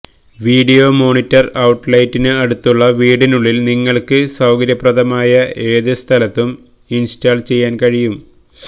video monitor ഔട്ട്ലെറ്റിന് അടുത്തുള്ള വീടിനുള്ളിൽ നിങ്ങൾക്ക് സൌകര്യപ്രദമായ ഏത് സ്ഥലത്തും ഇൻസ്റ്റാൾ ചെയ്യാൻ കഴിയും